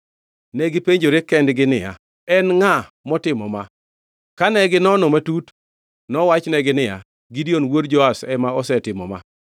Negipenjore kendgi niya, “En ngʼa motimo ma?” Kane ginono matut, nowachnegi niya, “Gideon wuod Joash ema osetimo ma.”